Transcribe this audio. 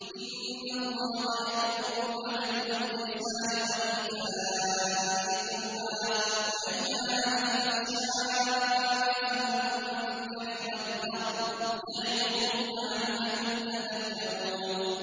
۞ إِنَّ اللَّهَ يَأْمُرُ بِالْعَدْلِ وَالْإِحْسَانِ وَإِيتَاءِ ذِي الْقُرْبَىٰ وَيَنْهَىٰ عَنِ الْفَحْشَاءِ وَالْمُنكَرِ وَالْبَغْيِ ۚ يَعِظُكُمْ لَعَلَّكُمْ تَذَكَّرُونَ